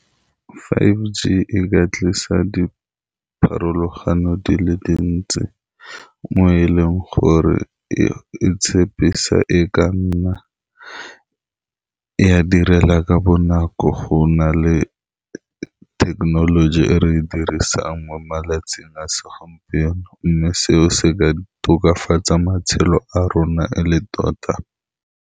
Five G e ka tlisa dipharologano di le dintsi, mo e leng gore e-e tshepisa e ka nna e a direla ka bonako go na le thekenoloji e re e dirisang mo malatsing a segompieno. Mme seo se ka tokafatsa matshelo a rona e le tota.